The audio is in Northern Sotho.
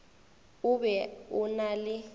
o be o na le